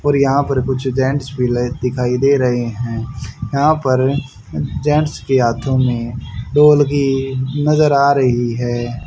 और यहां पर कुछ जेंट्स विलेज दिखाई दे रही हैं यहां पर जेंट्स के हाथों में दो वल्कि नजर आ रही है।